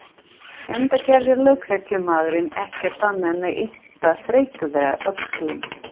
Enda gerði lögreglumaðurinn ekki annað en yppta þreytulega öxlum.